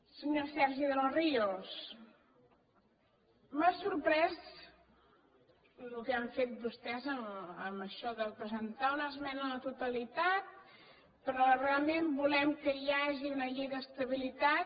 senyor sergi de los ríos m’ha sorprès el que han fet vostès amb això de presentar una esmena a la totalitat però realment volem que hi hagi una llei d’estabilitat